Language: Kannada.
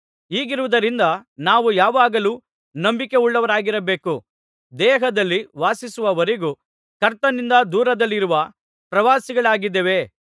ಹೀಗಿರುವುದರಿಂದ ನಾವು ಯಾವಾಗಲೂ ನಂಬಿಕೆಯುಳ್ಳವರಾಗಿರಬೇಕು ದೇಹದಲ್ಲಿ ವಾಸಿಸುವವರೆಗೂ ಕರ್ತನಿಂದ ದೂರದಲ್ಲಿರುವ ಪ್ರವಾಸಿಗಳಾಗಿದ್ದೇವೆ